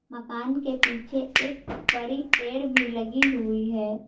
मकान के पीछे एक बड़ी पेड़ भी लगी हुई है।